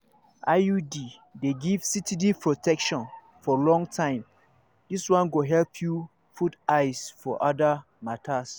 iud dey give steady protection for long time this one go help you put eyes for other matters.